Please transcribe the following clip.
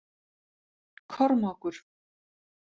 Kormákur